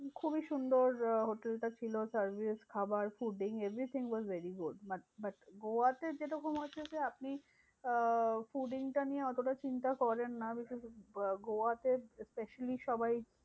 খুবই সুন্দর আহ হোটেল টা ছিল service, খাবার, food everything was very good. but but গোয়াতে যেরকম হচ্ছে যে আপনি আহ fooding টা নিয়ে অতটা চিন্তা করেন না। আহ গোয়াতে specially সবাই